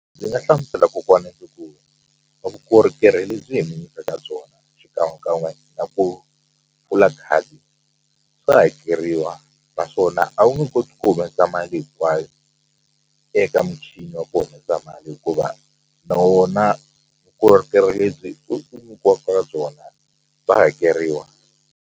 Ndzi nga hlamusela kokwani vukorhokeri lebyi hi nyikaka byona xikan'we kan'we na ku pfula khadi swa hakeriwa naswona a wu nge koti ku humesa mali hinkwayo eka muchini wa ku humesa mali hikuva na wona vukorhokeri lebyi u nyikiwaka byona bya hakeriwa.